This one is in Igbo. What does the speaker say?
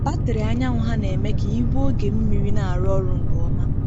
Batrị anyanwụ ha na-eme ka igwe oge mmiri na-arụ ọrụ nke ọma.